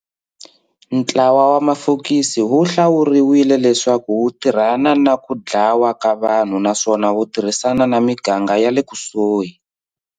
Ntlawa wa mafokisi wu hlawuriwile leswaku wu tirhana na ku dlawa ka vanhu naswona wu tirhisana na miganga yale kusuhi.